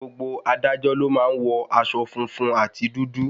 Gbogbo adájọ́ ló má ń wọ aṣọ funfun àti dúdú.